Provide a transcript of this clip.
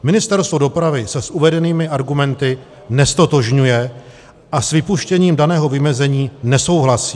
Ministerstvo dopravy se s uvedenými argumenty neztotožňuje a s vypuštěním daného vymezení nesouhlasí.